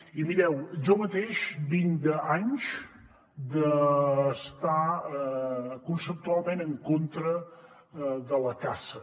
i mireu jo mateix vinc d’anys d’estar conceptualment en contra de la caça